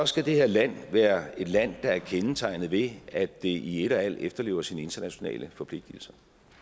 skal det her land være et land der er kendetegnet ved at det i et og alt efterlever sine internationale forpligtelser